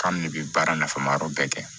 K'an de bɛ baara nafama yɔrɔ bɛɛ kɛ